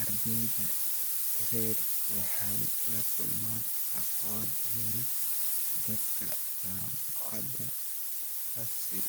Ardayda rer waxay lakulman aqoon yari danka jamacada tasii